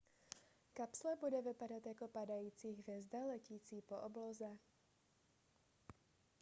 kapsle bude vypadat jako padající hvězda letící po obloze